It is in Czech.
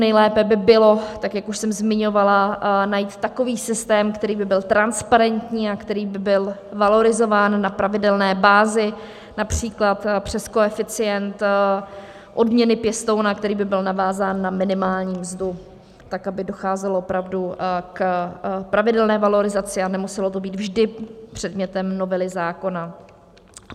Nejlépe by bylo, tak jak už jsem zmiňovala, najít takový systém, který by byl transparentní a který by byl valorizován na pravidelné bázi, například přes koeficient odměny pěstouna, který by byl navázán na minimální mzdu, tak aby docházelo opravdu k pravidelné valorizaci a nemuselo to být vždy předmětem novely zákona.